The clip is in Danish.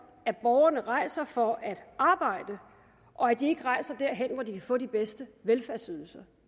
at borgerne rejser for at arbejde og at de ikke rejser derhen hvor de kan få de bedste velfærdsydelser